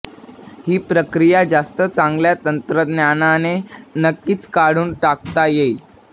ही प्रक्रिया जास्त चांगल्या तंत्रज्ञानाने नक्कीच काढून टाकता येईल